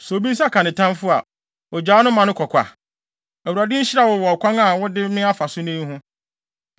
Sɛ obi nsa ka ne tamfo a, ogyaa no ma no kɔ kwa? Awurade nhyira wo wɔ ɔkwan a wode me afa so nnɛ yi ho.